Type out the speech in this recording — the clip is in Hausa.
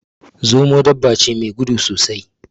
Zomo dabba ce me gudu sosai